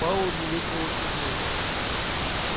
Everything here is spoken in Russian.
пауэлл невесело усмехнулся